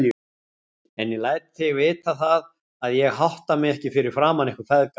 En ég læt þig vita það, að ég hátta mig ekki fyrir framan ykkur feðga.